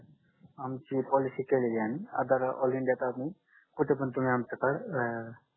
आमची पोलिसी केलेली आहे मी अगर ऑल इंडिया अजून कुठे पण तुम्ही आमच्याकड